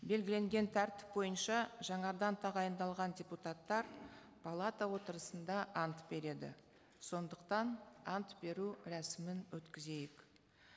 белгіленген тәртіп бойынша жаңадан тағайындалған депутаттар палата отырысында ант береді сондықтан ант беру рәсімін өткізейік